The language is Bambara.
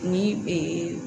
Ni